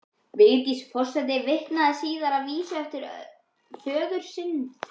Vigdís forseti vitnar síðan í vísu eftir föður sinn